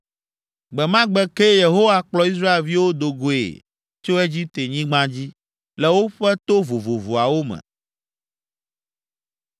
Gbe ma gbe kee Yehowa kplɔ Israelviwo do goe tso Egiptenyigba dzi, le woƒe to vovovoawo me.